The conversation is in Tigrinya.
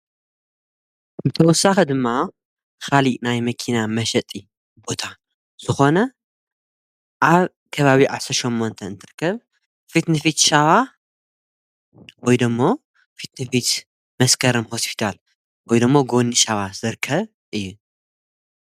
ብተወሳኸ ድማ ኻሊእ ናይ መኪና መሸጢ ቦታ ዝኾነ ኣብ ከባብ ዓሠሸምመንተ እንትርክብ ፊትንፊት ሻዋ ወይደሞ ፊትንፊት መስከረም ሓስቢዳል ወይዶሞ ጐኒ ሻዋ ዘርከ እየ።